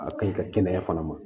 A ka ɲi ka kɛnɛya fana ma